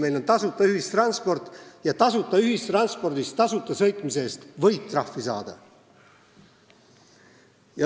Meil on tasuta ühistransport ja tasuta ühistranspordis tasuta sõitmise eest võid trahvi saada.